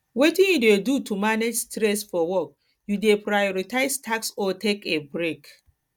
wetin you dey do to manage stress for work you dey prioritize tasks or take a break